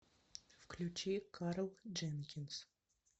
включи карл дженкинс